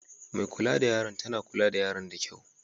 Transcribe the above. Mai kulla da yaran tana lura da yaran da kyau.